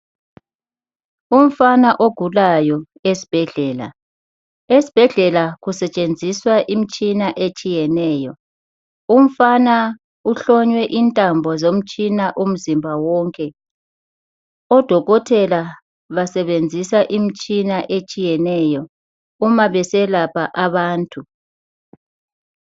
Umfana ogulayo esbhedlela. Esbhedlela kusetshenziswa imtshina etshiyeneyo. Umfana uhlonywe intambo zomtshina umzimba wonke, odokotela basebenzisa imtshina etshiyeneyo umabeselapha abantu.